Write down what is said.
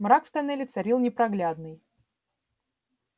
мрак в тоннеле царил непроглядный